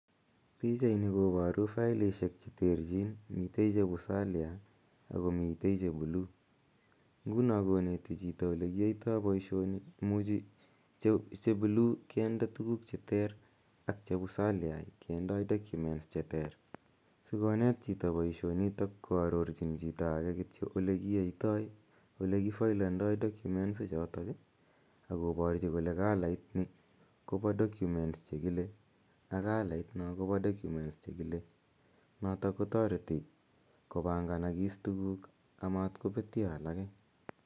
Pichaini koboru faelishek cheterchin, michen cheu salia akomiten chebuluu, ng'unon koneti chito olekiyoito boishoni imuchi chebuluu kinde tukuk cheter ak cheuu salia kindoi documents cheter, sikonet chito boishoniton koarorchin chito akee kityok olekiyoitoi elee kifoelendo faelishechoton akoborchi kole kalait nii koboo documents chekile ak kalait non kobodocuments chekile, noton kotoreti kobang'anakis tukuk amaat kobetyoo alak.